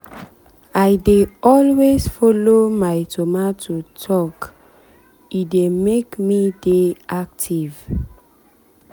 i dey always follow my tomato talke dey make me dey active.